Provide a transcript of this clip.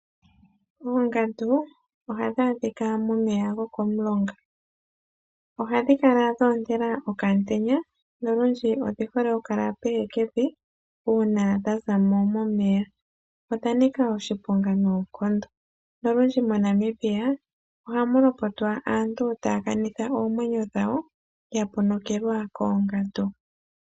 Oongandu ohadhi adhika momeya gokomulonga. Ohadhi kala dho ontela okaantenya nolundji odhi hole okukala pehekevi uuna dha za mo momeya. Odha nika oshiponga noonkondo nolundji moNamibia ohamu lopotwa aantu taya kanitha oomwenyo dhawo ya ponokelwa koongandu.